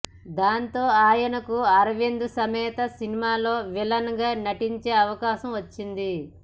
దాంతో ఆయనకు అరవింద సమేత సినిమాలో విలన్ గా నటించే అవకాశం వచ్చింది